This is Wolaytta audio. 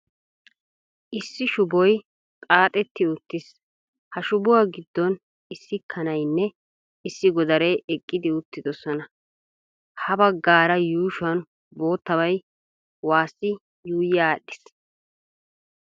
Issi shuboy xaaxxeti uttiis, ha shubuwa giddon issi kanaynne issi godaree eqqidi uttidosona, ha bagaara yuushuwan boottabay wassi yuuyi adhdhiis.